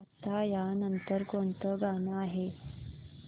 आता या नंतर कोणतं गाणं आहे